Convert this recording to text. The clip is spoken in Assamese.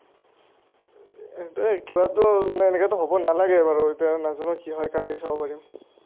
কিবা এটা মানে এনেকেতো হ’ব নালাগে বাৰু এতিয়া, নাজানো কি হয় কালিহে চাব পাৰিম।